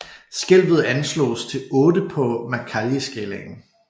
Skælvet anslås til 8 på Mercalliskalaen